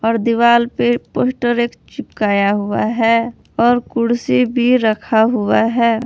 और दिवाल पे पोस्टर एक चिपकाया हुआ है और कुर्सी भी रखा हुआ हैं।